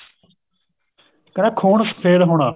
ਕਹਿੰਦਾ ਖੂਨ ਸ਼ਫ਼ੇਦ ਹੋਣਾ